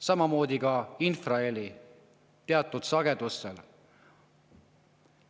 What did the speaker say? Samamoodi on ka teatud sagedusega infraheli puhul.